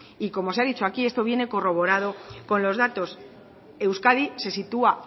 y como se ha dicho aquí esto viene corroborado con los datos euskadi se sitúa